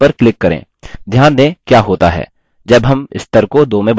ध्यान दें क्या होता है जब हम स्तर को 2 में बदलते हैं